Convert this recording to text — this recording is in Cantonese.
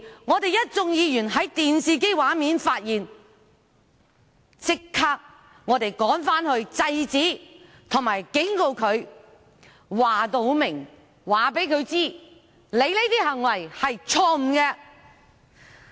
我們一眾議員在電視機畫面發現時，便立即趕返會議廳內制止並警告他，清楚告訴他，其行為是錯誤的。